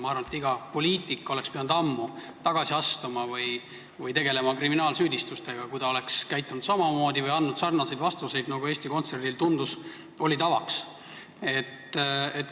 Ma arvan, et poliitik oleks pidanud ammu tagasi astuma või tegelema saadud kriminaalsüüdistustega, kui ta oleks käitunud samamoodi või andnud sarnaseid vastuseid, nagu Eesti Kontserdil, tundus, oli tavaks.